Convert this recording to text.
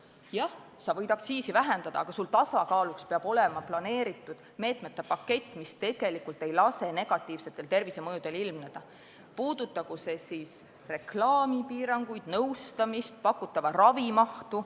Jah, sa võid aktsiisi vähendada, aga tasakaaluks peab sul olema plaanitud meetmete pakett, mis ei lase negatiivsetel tervisemõjudel ilmneda, puudutagu see siis reklaamipiiranguid, nõustamist või pakutava ravi mahtu.